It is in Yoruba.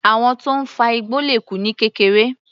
Àwọn tó ń fa igbó le kú ní kékeré.